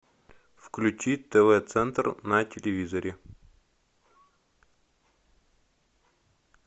включи тв центр на телевизоре